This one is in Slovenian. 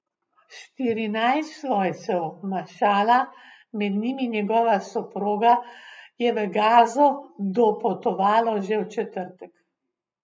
Štirinajst svojcev Mašala, med njimi njegova soproga, je v Gazo dopotovalo že v četrtek.